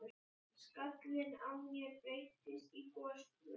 Skallinn á mér breytist í gosbrunn.